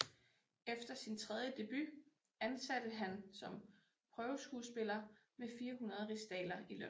Efter sin tredje debut ansattes han som prøveskuespiller med 400 rigsdaler i løn